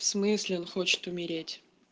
в смысле он хочет умереть